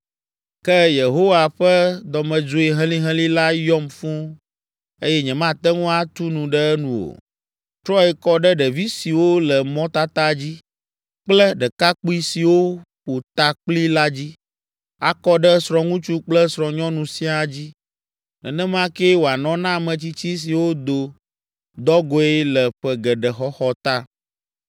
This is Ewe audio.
Ke Yehowa ƒe dɔmedzoe helĩhelĩ la yɔm fũu eye nyemate ŋu atu nu ɖe enu o. “Trɔe kɔ ɖe ɖevi siwo le mɔtata dzi kple ɖekakpui siwo ƒo ta kpli la dzi, akɔ ɖe srɔ̃ŋutsu kple srɔ̃nyɔnu siaa dzi. Nenema kee wòanɔ na ametsitsi siwo do dɔgɔ̃e le ƒe geɖe xɔxɔ ta.